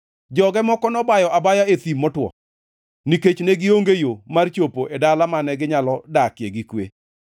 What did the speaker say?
Joge moko nobayo abaya e thim motwo nikech ne gionge yo mar chopo e dala mane ginyalo dakie gi kwe.